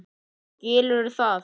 Skilurðu það?